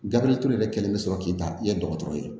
Gabiriyɛri kelen bɛ sɔrɔ k'i ta i ye dɔgɔtɔrɔ ye